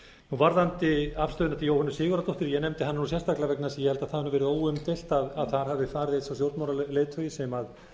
varðandi afstöðuna til jóhönnu sigurðardóttur ég nefndi hana sérstaklega vegna þess að ég held að það hafi verið óumdeilt að þar hafi farið sá stjórnmálaleiðtogi sem